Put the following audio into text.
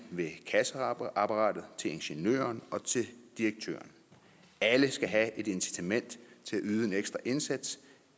ved kasseapparatet og til ingeniøren og direktøren alle skal have et incitament til at yde en ekstra indsats